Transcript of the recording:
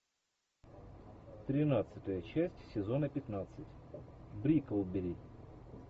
тринадцатая часть сезона пятнадцать бриклберри